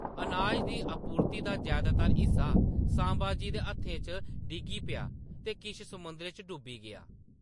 अनाज दी आपूर्ति दा जैदातर हिस्सा संभाजी दे हत्थें च डिग्गी गेआ ते किश समुंदरै च डूबी गेआ।